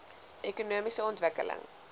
ekonomiese ontwikkeling